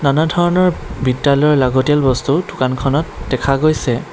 ধৰণৰ বিদ্যালয়ৰ লাগতিয়াল বস্তু দোকানখনত দেখা গৈছে।